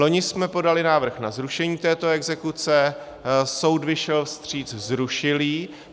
Loni jsme podali návrh na zrušení této exekuce, soud vyšel vstříc, zrušil ji.